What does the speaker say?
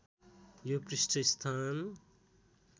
यो पृष्ठ स्थान